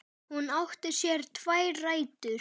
Hún átti sér tvær rætur.